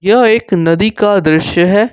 यह एक नदी का दृश्य है।